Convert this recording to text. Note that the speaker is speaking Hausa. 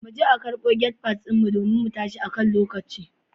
Muje a karbo gate pass din mu domin mu tashi akan lokaci.